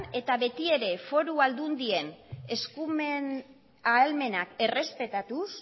eta betiere foru aldundien eskumen ahalmenak errespetatuz